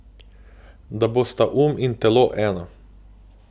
Da bosta um in telo eno.